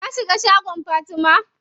Ka shiga shagon Fatima?